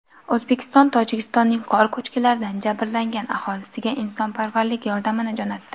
O‘zbekiston Tojikistonning qor ko‘chkilaridan jabrlangan aholisiga insonparvarlik yordamini jo‘natdi .